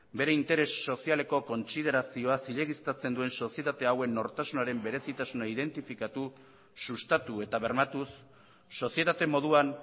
bere interes sozialeko kontsiderazioa zilegiztatzen duen sozietate hauen nortasunaren berezitasuna identifikatu sustatu eta bermatuz sozietate moduan